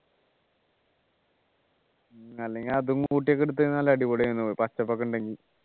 അല്ലെങ്കിൽ അതും കൂട്ടി ഒക്കെ എടുത്തെങ്കി നല്ല അടിപൊളി ആവും ന്നു പച്ചപ്പൊക്കെ ഉണ്ടെങ്കി